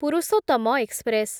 Purushottam express